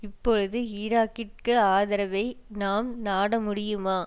இப்பொழுது ஈராக்கிற்கு ஆதரவை நாம் நாட முடியுமா